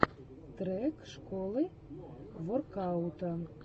трек школы воркаута